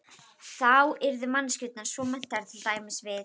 Þá yrðu manneskjurnar svo menntaðar, til dæmis við